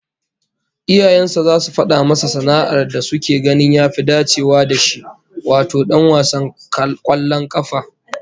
Iyayen sa zasu fada masa sana'ar da suke ganin ya fi dacewa da shi, wato dan wasan kwallon kafa